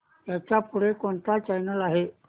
ह्याच्या पुढे कोणता चॅनल आहे